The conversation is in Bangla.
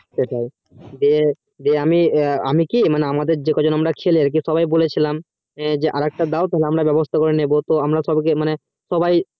সেটাই যে আমি আমি কি আমাদের যে কজন আমরা খেলি আরকি সবাই বলেছিলাম যে আরেকটা দাও আমরা তাহলে বেবস্থা করে নিবো আমরা সবাই কে